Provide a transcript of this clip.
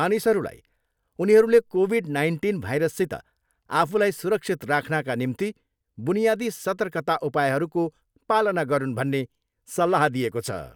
मानिसहरूलाई उनीहरूले covid nineteen भाइरससित आफूलाई सुरक्षित राख्नाका निम्ति बुनियादी सर्तकता उपायहरूको पालना गरून् भन्ने सल्लाह दिएको छ।